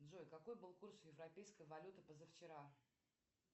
джой какой был курс европейской валюты позавчера